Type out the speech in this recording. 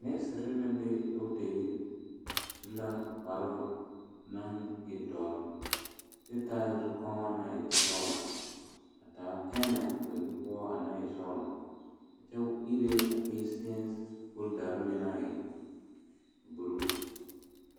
Neseere naŋ be dɔɔta yiri o su la kpare naŋ e doɔre kyɛ taa zukɔma naŋ e sɔglɔ a taa pɛmɛ ba nu poɔ naŋ e sɔglɔ kyɛ iri a patients fooda naŋ e buluu.